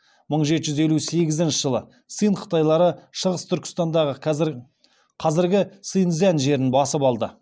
мың жеті жүз елу сегізінші жылы цинь қытайлары шығыс түркістандағы қазіргі синь цзянь жерін басып алды